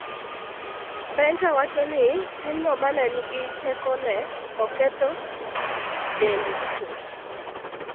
Benta wacho ni timno ma ne nigi teko ne oketho dende chuth.